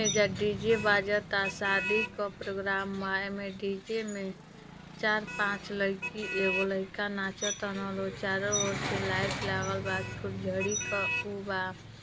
एइजा डी.जे. बाजता शादी क प्रोग्राम माया में डी.जे. में चार पाच लइकी एगो लइका नाचतानअ लोग चारो ओर से लाइट लागल बा फुलझड़ी क उबा --